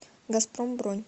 газпром бронь